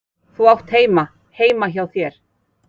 Þú átt heima heima hjá þér!